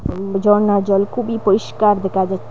উম ঝরনার জল খুবই পরিষ্কার দেখা যাচ্চে ।